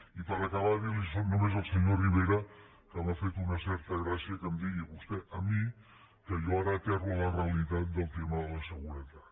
i per acabar dir li només al senyor rivera que m’ha fet una certa gràcia que em digui vostè a mi que jo ara aterro a la realitat del tema de la seguretat